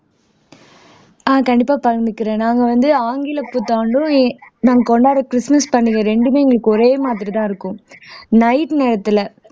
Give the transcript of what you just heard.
ஆஹ் கண்டிப்பா பகிர்ந்துக்கிறேன் நாங்க வந்து ஆங்கிலப் புத்தாண்டும் நாங்க கொண்டாடுற கிறிஸ்துமஸ் பண்டிகை ரெண்டுமே எங்களுக்கு ஒரே மாதிரிதான் இருக்கும் night நேரத்துல